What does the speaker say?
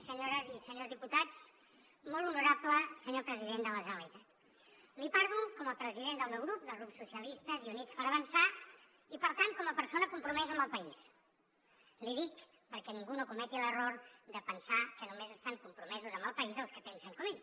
senyores i senyors diputats molt honorable senyor president de la generalitat li parlo com a president del meu grup del grup socialistes i units per avançar i per tant com a persona compromesa amb el país l’hi dic perquè ningú no cometi l’error de pensar que només estan compromesos amb el país els que pensen com ell